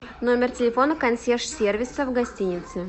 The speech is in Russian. номер телефона консьерж сервиса в гостинице